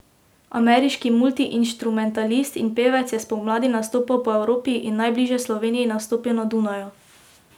Ameriški multiinštrumentalist in pevec je spomladi nastopal po Evropi in najbližje Sloveniji nastopil na Dunaju.